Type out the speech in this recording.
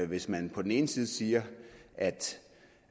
hvis man på den ene side siger